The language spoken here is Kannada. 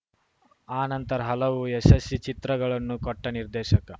ಆನಂತರ ಹಲವು ಯಶಸ್ಸಿ ಚಿತ್ರಗಳನ್ನು ಕೊಟ್ಟನಿರ್ದೇಶಕ